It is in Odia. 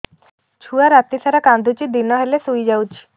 ଛୁଆ ରାତି ସାରା କାନ୍ଦୁଚି ଦିନ ହେଲେ ଶୁଇଯାଉଛି